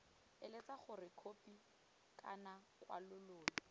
eletsa gore khopi kana kwalololo